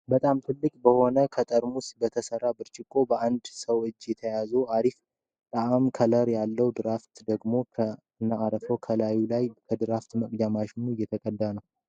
በጣም ትልቅ በሆነና ከጠርሙስ በተሰራ ብርጭቆ በአንድ ሰው እጅ ተይዞ አሪፍ ጣዕምና ከለር ያለው ድራፍት ደግሞ ከነአረፋው ከላዩላይ ከድራፍት መቅጃ ማሽኑ እየተቀዳበት ነው።